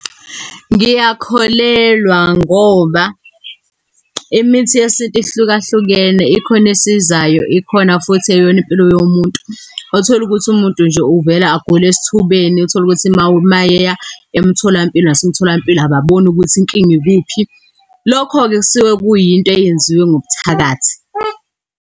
Ngiyakholelwa ngoba imithi yesintu ihlukahlukene. Ikhona esizayo, ikhona futhi eyona impilo yomuntu. Otholukuthi umuntu nje uvele agule esithubeni. Utholukuthi uma uma eya emtholampilo, nasemtholampilo ababoni ukuthi inkinga ikuphi. Lokho-ke kusuke kuyinto eyenziwe ngokuthakatha.